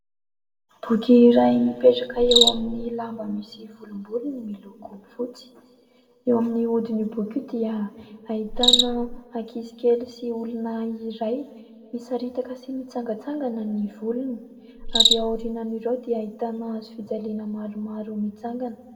Boky iray mipetraka eo amin'ny lamba misy volombolony miloko fotsy. Eo amin'ny hodin'io boky dia ahitana ankizy kely sy olona iray misaritaka sy mitsangantsangana ny volony, ary aorinan'ireo dia ahitana hazofijaliana maromaro mitsangana.